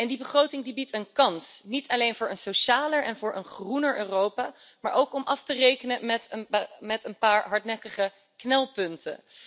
Die begroting biedt een kans, niet alleen voor een socialer en groener Europa, maar ook om af te rekenen met een paar hardnekkige knelpunten.